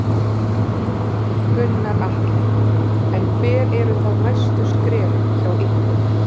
Gunnar Atli: En hver eru þá næstu skref hjá ykkur?